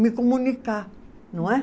me comunicar, não é?